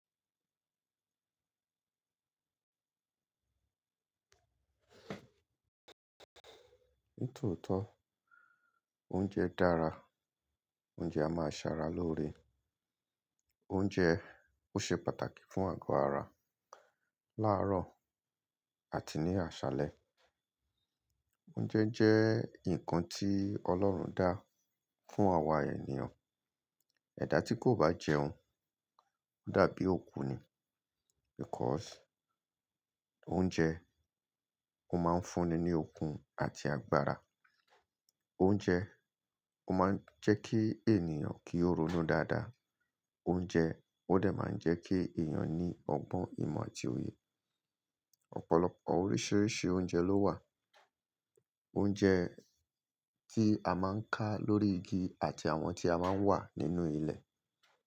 Nítòótó, oúnjẹ dára, oúnjẹ a máa ṣara lóore, oúnjẹ ó ṣe pàtàkì fún àgọ́ ara láàárọ̀ àti ní àṣálẹ́. Oúnjẹ jẹ́ ǹnkan tí Ọlọ́run dá fún àwa ènìyàn. Ẹ̀dá tí kò bá jẹun dàbí òkú ni because oúnjẹ ó máa ń fúnni ní okun àti agbára. Oúnjẹ ó máa ń jẹ́ kí ènìyàn kí ó ronú dáadáa. Oúnjẹ ó dẹ̀ máa ń jẹ́ kí èèyàn ní ọgbọ́n ìmọ̀ àti òye. Ọ̀pọ̀lọpọ̀ oríṣìíríṣìí oúnjẹ ló wà. Oúnjẹ tí a máa ń ká lórí igi àti àwọn tí a máa ń wà nínú ilẹ̀.